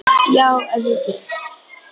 Já, ef ég get.